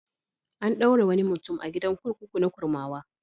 An ɗaure wani mutum a gidan kurkuku na Kurmawa.